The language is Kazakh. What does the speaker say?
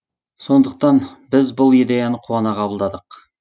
сондықтан біз бұл идеяны қуана қабылдадық